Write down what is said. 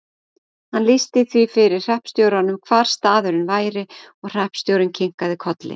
Hann lýsti því fyrir hreppstjóranum hvar staðurinn væri og hreppstjórinn kinkaði kolli.